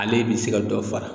Ale bi se ka dɔ fara